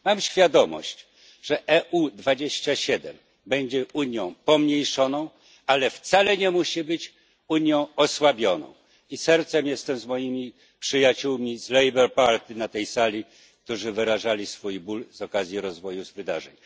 Mam świadomość, że UE 27 będzie Unią pomniejszoną, ale wcale nie musi być Unią osłabioną, i sercem jestem z moimi przyjaciółmi z Labour Party na tej sali, którzy wyrażali swój ból z powodu rozwoju wydarzeń.